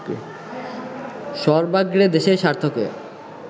সর্বাগ্রে দেশের স্বার্থকে